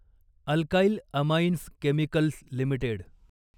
alkyl amines chemicals limited